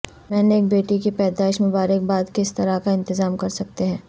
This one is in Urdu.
میں نے ایک بیٹی کی پیدائش مبارک باد کس طرح کا انتظام کر سکتے ہیں